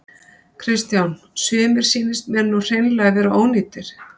Kristján: Sumir sýnist mér nú hreinlega vera ónýtir?